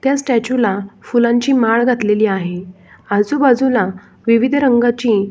त्या स्टॅच्यु ला फुलांची माळ घातलेली आहे आजूबाजूला विविध रंगाची--